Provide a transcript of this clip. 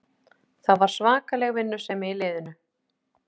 Það var svakaleg vinnusemi í liðinu